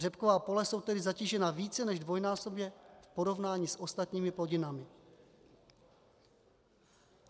Řepková pole jsou tedy zatížena více než dvojnásobně v porovnání s ostatními plodinami.